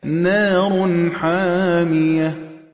نَارٌ حَامِيَةٌ